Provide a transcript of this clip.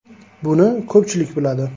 “Buni ko‘pchilik biladi.